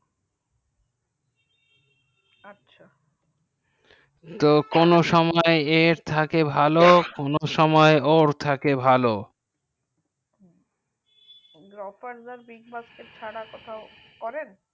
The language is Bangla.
আচ্ছা তো কোনো সময় এর থেকে ভালো কোনো সময় ওর থেকে ভালো হু grofar big boss এর ছাড়া কোথায় করেন